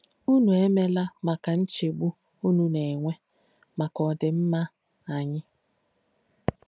Ùnù èmeéla makà nchégbù ùnù nà-ènwé makà ọdímmà ányì.